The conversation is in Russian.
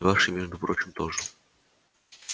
ваши между прочим тоже